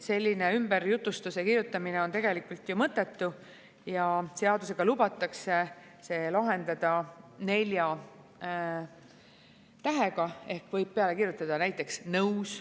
Selline ümberjutustuse kirjutamine on tegelikult mõttetu ja seadusega lubatakse see lahendada nelja tähega ehk võib peale kirjutada näiteks "Nõus".